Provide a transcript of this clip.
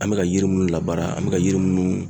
An bɛ ka yiri minnu labaara ,an bɛ ka yiri minnu